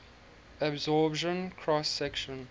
absorption cross section